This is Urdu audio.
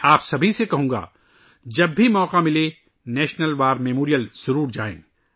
میں آپ سب سے کہوں گا کہ جب بھی آپ کو موقع ملے 'نیشنل وار میموریل' ضرور جائیں